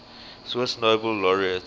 swiss nobel laureates